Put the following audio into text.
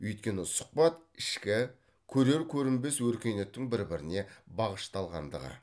өйткені сұхбат ішкі көрер көрінбес өркениеттің бір біріне бағышталғандығы